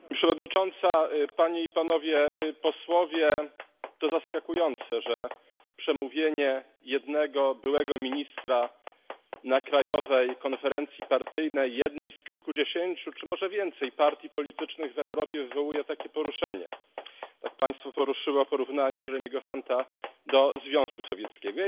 Pani Przewodnicząca! To zaskakujące, że przemówienie jednego byłego ministra na krajowej konferencji partyjnej jednej z kilkudziesięciu, czy może więcej partii politycznych w Europie wywołuje takie poruszenie tak Państwa poruszyło porównanie Jeremiego Hunta do Związku Sowieckiego.